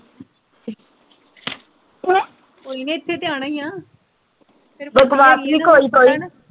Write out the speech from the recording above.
ਕੋਈ ਨੀ ਇੱਥੇ ਤੇ ਆਉਣਾ ਈ ਆ